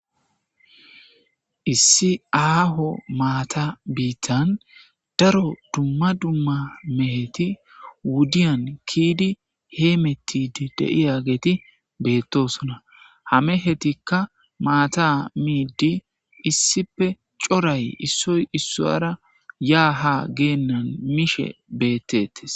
issi aaho maata biittan daro dumma dumma meheti wudiyan kiyidi heemettidi de7iyageeti beettosona; ha mehetikka maata miiddi issippe coray issoy issuwaara yaa haa geennan mishe beettettes.